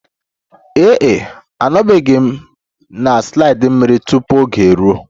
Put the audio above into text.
Ee e, anọbeghị m na slide mmiri tupu oge eruo.